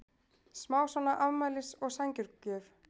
smá svona afmælis- og sængurgjöf.